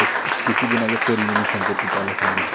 কিছুদিন আগে পরীমনি সম্পর্কিত আলোচনা হয়েছিল,